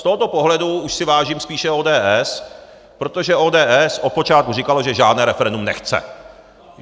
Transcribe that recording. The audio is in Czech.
Z tohoto pohledu už si vážím spíše ODS, protože ODS od počátku říkala, že žádné referendum nechce.